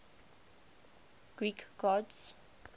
greek gods